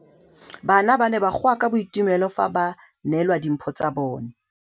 Bana ba ne ba goa ka boitumelo fa ba neelwa dimphô tsa bone.